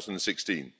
2016.